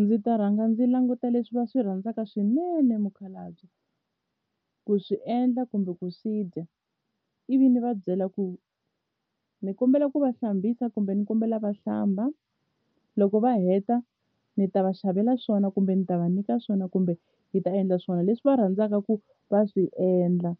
Ndzi ta rhanga ndzi languta leswi va swi rhandzaka swinene mukhalabye ku swi endla kumbe ku swi dya ivi ni va byela ku ni kombela ku va hlambisa kumbe ni kombela va hlamba loko va heta ni ta va xavela swona kumbe ni ta va nyika swona kumbe hi ta endla swona leswi va rhandzaka ku va swi endla